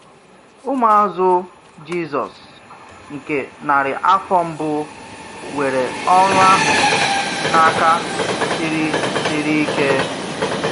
Ụmụazụ Jisọs nke narị afọ mbụ were ọrụ ahụ n’aka siri siri ike.